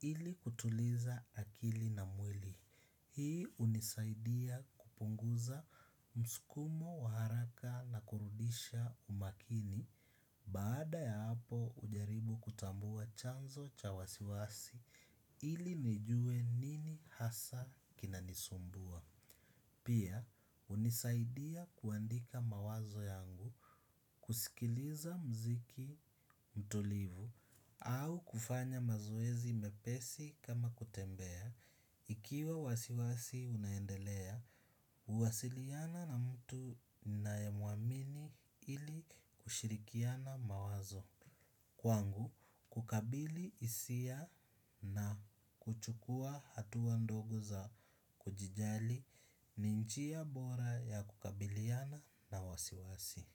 ili kutuliza akili na mwili. Hii unisaidia kupunguza mskumo waharaka na kurudisha umakini. Baada ya hapo ujaribu kutambua chanzo cha wasiwasi ili nijue nini hasa kinanisumbua. Pia hunisaidia kuandika mawazo yangu kuskiliza mziki mtulivu au kufanya mazoezi mepesi kama kutembea. Ikiwa wasiwasi unaendelea, huwasiliana na mtu ninaye muamini ili kushirikiana mawazo. Kwangu kukabili isia na kuchukua hatua ndogo za kujijali ninjia bora ya kukabiliana na wasiwasi.